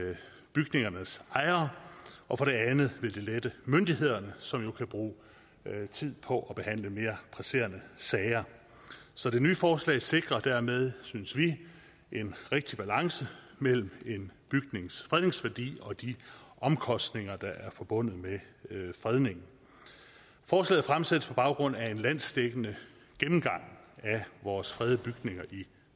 bygningernes ejere og for det andet vil det lette sagsbehandlingen myndighederne som jo kan bruge tid på at behandle mere presserende sager så det nye forslag sikrer dermed synes vi en rigtig balance mellem en bygnings fredningsværdi og de omkostninger der er forbundet med fredningen forslaget fremsættes på baggrund af en landsdækkende gennemgang af vores fredede bygninger i